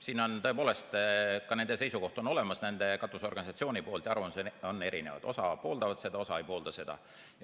Siin on tõepoolest ka nende seisukoht olemas, nende katusorganisatsiooni arvamus, ja arvamused on erinevad, osa pooldab seda, osa ei poolda seda.